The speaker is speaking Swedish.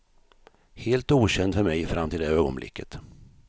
Helt okänd för mig fram till det ögonblicket.